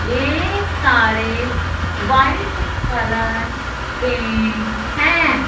ये सारे white colour कें हैं।